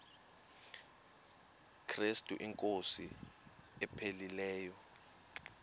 krestu inkosi ephilileyo